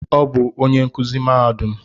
Ọ bu onyé nkụzi mahadum